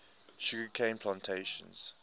sugar cane plantations